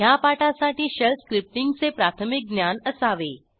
ह्या पाठासाठी शेल स्क्रिप्टींगचे प्राथमिक ज्ञान असावे